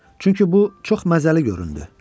Çünki bu çox məzəli göründü.